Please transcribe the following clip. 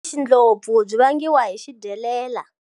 Xindlopfu byi vangiwa hi xidyelela.